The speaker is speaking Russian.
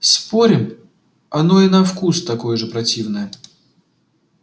спорим оно и на вкус такое же противное